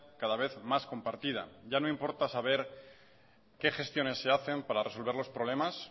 cada vez más compartida ya no importa saber qué gestiones se hacen para resolver los problemas